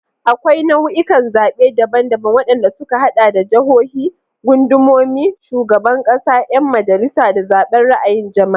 Akwai nau'ikan zaɓe daban-daban, waɗanda suka haɗa da jahohi, gundumomi, shugaban ƙasa, 'yan majalisa, da zaɓen ra'ayin jama'a.